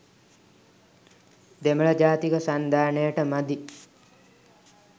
දෙමළ ජාතික සන්ධානයට මදි.